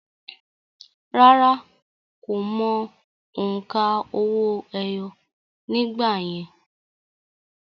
Rárá, kò mọ òǹkà owó-ẹyọ nígbà yẹn